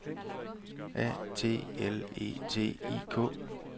A T L E T I K